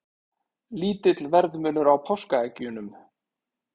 Lítill verðmunur á páskaeggjunum